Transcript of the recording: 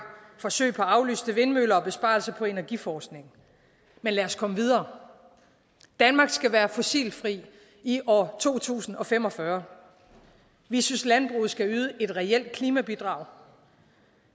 forsøg på aflyste vindmøller og besparelse på energiforskning men lad os komme videre danmark skal være fossilfrit i år to tusind og fem og fyrre vi synes landbruget skal yde et reelt klimabidrag